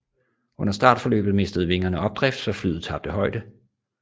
Under startforløbet mistede vingerne opdrift så flyet tabte højde